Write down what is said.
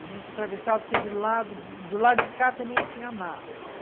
A gente atravessava, porque do lado do lado de cá também tinha mato.